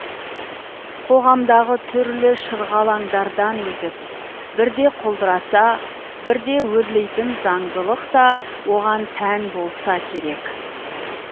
қоғамдағы түрлі шырғалаңдардан өтіп бірде құлдыраса бірде өрлейтін заңдылық та оған тән болса керек